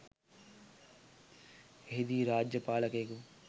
එහිදී රාජ්‍ය පාලකයෙකු